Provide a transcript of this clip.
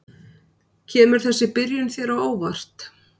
Kemur þessi byrjun þér á óvart?